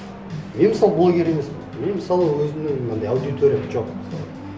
мен мысалы блогер емеспін мен мысалы өзімнің мынандай аудиториям жоқ мысалы